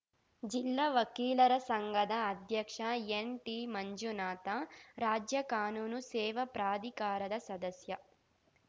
ಜಿಲ್ಲಾ ವಕೀಲರ ಸಂಘದ ಅಧ್ಯಕ್ಷ ಎನ್‌ಟಿಮಂಜುನಾಥ ರಾಜ್ಯ ಕಾನೂನು ಸೇವಾ ಪ್ರಾಧಿಕಾರದ ಸದಸ್ಯ